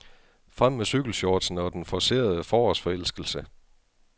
Frem med cykelshortsene og den forcerede forårsforelskelse.